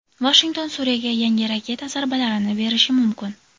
Vashington Suriyaga yangi raketa zarbalarini berishi mumkin.